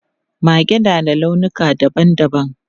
Mage na da launuka dabam dabam.